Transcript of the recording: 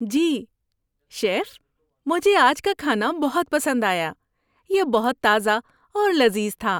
جی، chef, مجھے آج کا کھانا بہت پسند آیا۔ یہ بہت تازہ اور لذیذ تھا۔